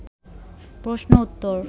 প্রশ্ন উত্তর